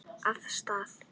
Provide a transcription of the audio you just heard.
Af stað!